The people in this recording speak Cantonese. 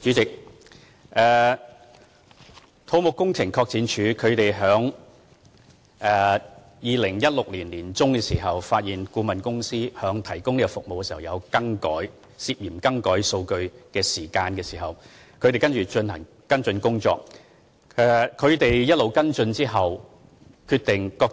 主席，土木工程拓展署在2016年年中發現顧問公司在提供服務時涉嫌更改數據，他們在進行跟進工作後決定，這